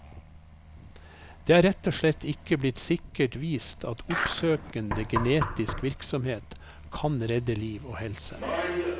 Det er rett og slett ikke blitt sikkert vist at oppsøkende genetisk virksomhet kan redde liv og helse.